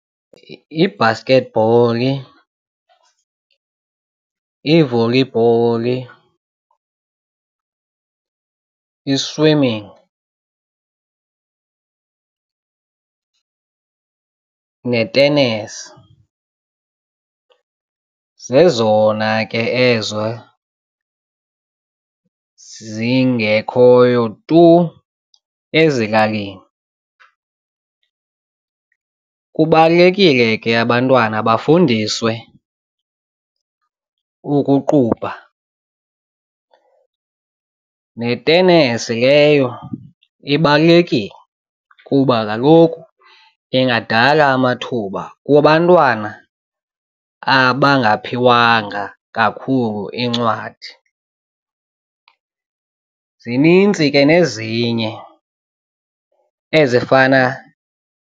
Ibhasketbholi, ivolibholi, i-swimming netenesi zezona ke ezo zingekhoyo tu ezilalini, kubalulekile ke abantwana bafundiswe ukuqubha netenesi leyo ibalulekile kuba kaloku ingadala amathuba kubantwana abangaphiwanga kakhulu iincwadi. Zininzi ke nezinye ezifana.